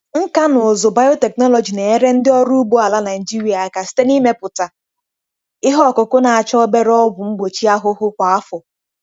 Nkà na ụzụ biotechnology na-enyere ndị ọrụ ugbo ala Nigeria aka site n'ịmepụta ihe ọkụkụ na-achọ obere ọgwụ mgbochi ahụhụ kwa afọ.